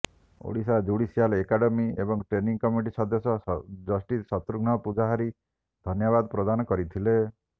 Odisha judicial academy ଏବଂ training committee ସଦସ୍ୟ justice Shatrughna Pujahari ଧନ୍ୟବାଦ ପ୍ରଦାନ କରିଥିଲେ